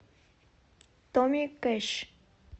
томми кэш